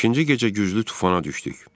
Beşinci gecə güclü tufana düşdük.